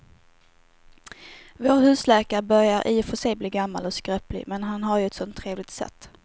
Vår husläkare börjar i och för sig bli gammal och skröplig, men han har ju ett sådant trevligt sätt!